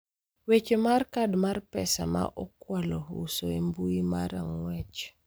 Weche mar kad mar pesa ma okwalo ouso e mbui mar Ang'ech